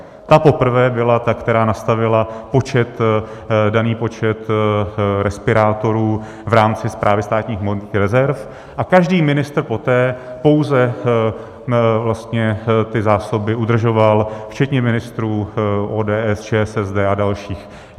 Ta poprvé byla ta, která nastavila daný počet respirátorů v rámci Správy státních hmotných rezerv, a každý ministr poté pouze ty zásobě udržoval, včetně ministrů ODS, ČSSD a dalších.